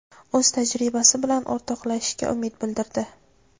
o‘z tajribasi bilan o‘rtoqlashishiga umid bildirdi.